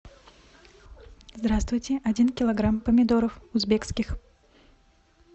здравствуйте один килограмм помидоров узбекских